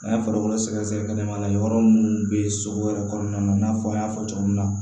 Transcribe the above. An ye farikolo sɛgɛsɛgɛ kɛnɛmana yɔrɔ minnu bɛ sogo yɛrɛ kɔnɔna na i n'a fɔ an y'a fɔ cogo min na